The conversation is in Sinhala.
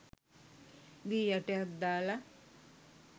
වී ඇටයක් දාල